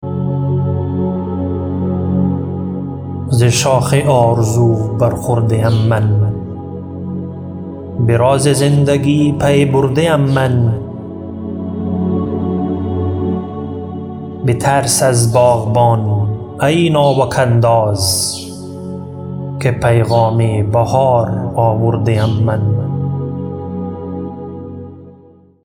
ز شاخ آرزو بر خورده ام من به راز زندگی پی برده ام من بترس از باغبان ای ناوک انداز که پیغام بهار آورده ام من